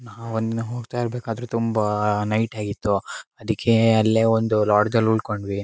ನಾವು ಒಂದ ದಿನ ಹೋಗತ್ತಾ ಇರಬೇಕಾದ್ರೆ ತುಂಬಾ ನೈಟ್ ಆಗಿತ್ತು ಅದಕ್ಕೆ ಅಲ್ಲೇ ಒಂದು ಲಾಡ್ಜ್ ಉಳಕೊಂಡವೀ.